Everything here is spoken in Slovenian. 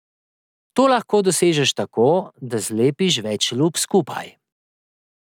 To lahko dosežeš tako, da zlepiš več lup skupaj.